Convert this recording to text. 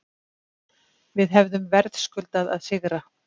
Við hefðum verðskuldað að sigra